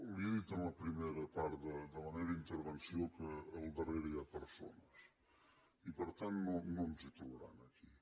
li he dit en la primera part de la meva intervenció que al darrere hi ha persones i per tant no ens hi trobarà aquí